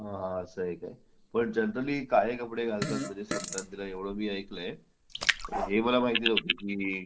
असा आहे का पण जनरली काळे कपडे घालतात संक्रांतीला एवढं मी ऐकलं आहे हे मला माहिती नव्हतं की